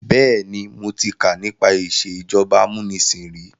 Bẹ́ẹ̀ni, mo ti kà nípa ìsèjọba amúnisìn ríi.